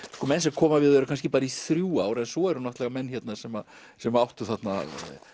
menn sem koma við og eru kannski bara í þrjú ár en svo eru náttúrulega menn sem sem áttu þarna